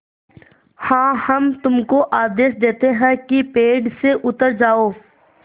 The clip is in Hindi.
हाँ हम तुमको आदेश देते हैं कि पेड़ से उतर जाओ